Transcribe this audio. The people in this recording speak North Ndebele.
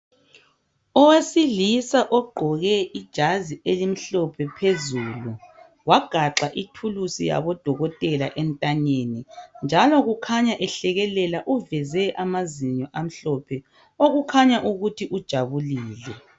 Owesilisa ogqoke ijazi elimhlophe phezulu, wagaxa ithulusi yabodokotela entanyeni. Njalo ukhanya ehlekelela uveze amazinyo amhlophe okukhanya ukuthi ujabulile.